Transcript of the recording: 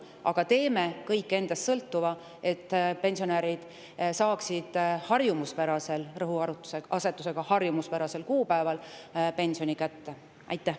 Aga me teeme kõik endast sõltuva, et pensionärid saaksid harjumuspärasel – rõhutan: harjumuspärasel – kuupäeval pensioni kätte.